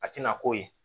A tɛna k'o ye